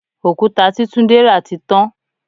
Òkúta tí túndé ra tí tán.